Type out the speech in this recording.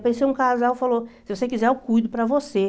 Apareceu um casal, falou, se você quiser, eu cuido para você.